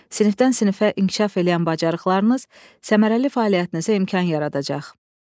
Sinifdən-sinifə inkişaf eləyən bacarıqlarınız səmərəli fəaliyyətinizə imkan yaradacaq.